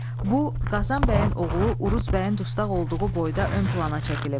Bu Qazan bəyin oğlu Uruz bəyin dustaq olduğu boyda ön plana çəkilib.